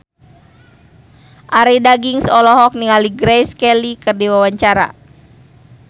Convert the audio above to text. Arie Daginks olohok ningali Grace Kelly keur diwawancara